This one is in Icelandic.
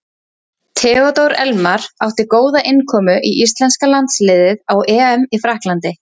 Theodór Elmar átti góða innkomu í íslenska landsliðið á EM í Frakklandi.